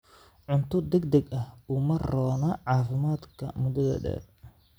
Cunto degdeg ah uma roona caafimaadka muddada dheer.